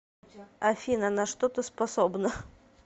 афина на что ты способна